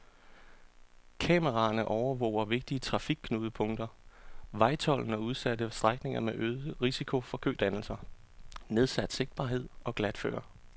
Kameraerne overvåger vigtige trafikknudepunkter, vejtolden og udsatte strækninger med øget risiko for kødannelser, nedsat sigtbarhed og glatføre.